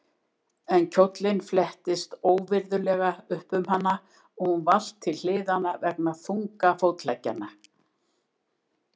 En kjóllinn flettist óvirðulega upp um hana og hún valt til hliðanna vegna þunga fótleggjanna.